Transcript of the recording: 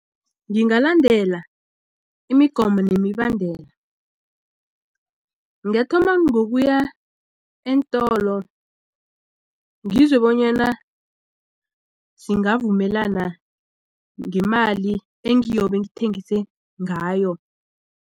Ngingalandela imigomo nemibandela ngathoma ngokuya eentolo ngizwe bonyana singavumelana ngemali engiyobe ngithengise ngayo.